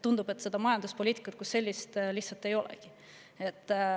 Tundub, et majanduspoliitikat kui sellist lihtsalt ei olegi.